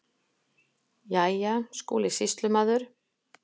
Jæja, Skúli sýslumaður.